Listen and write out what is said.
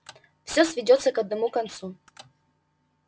всё сведётся к одному концу